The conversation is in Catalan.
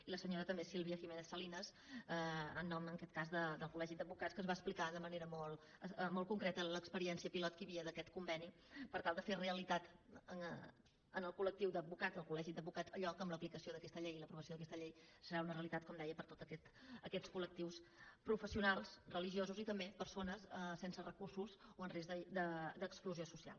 i la senyora també sílvia giménez salinas en nom en aquest cas del col·legi d’advocats que ens va explicar de manera molt concreta l’experiència pilot que hi havia d’aquest conveni per tal de fer realitat en el col·lectiu d’advocats del col·legi d’advocats allò que amb l’aplicació d’aquesta llei i l’aprovació d’aquesta llei serà una realitat com deia per a tots aquests col·lectius professionals religiosos i també persones sense recursos o en risc d’exclusió social